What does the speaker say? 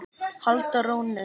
halda rónni.